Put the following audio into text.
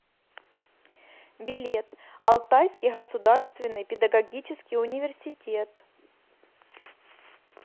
билет алтайский государственный педагогический университет